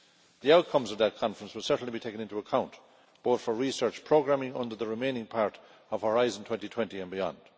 The outcomes of that conference will certainly be taken into account, both for research programming under the remaining part of Horizon 2020 and beyond.